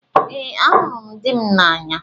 Ee, ahụrụ m dị m n'anya